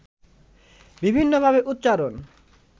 বিভিন্নভাবে উচ্চারণ